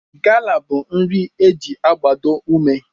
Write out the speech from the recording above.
Gala bụ nri e ji agbado ume